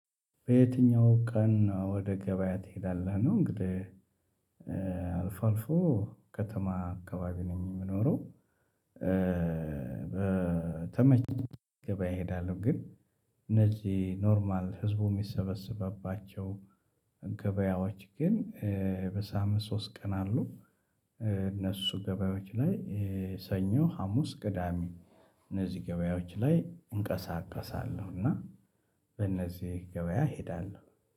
በየትኛው ቀን ወደ ገበያ ትሄዳለህ ነው? እንግዲህ አልፎ አልፎ ከተማ አካባቢ ነኝ የምኖረው። በተመች ገበያ እሄዳለሁ ግን እነዚህ ኖርማል ህዝቡ እሚሰበስብባቸው ገበያዎች ግን በሳምንት ሶስት ቀን አሉ። እነሱ ገበያዎች ላይ ሰኞ ሀሙስ ቅዳሜ እነዚህ ገበያዎች ላይ እንቀሳቀሳለሁ። እና በእነዚህ ገበያ ሄዳለሁ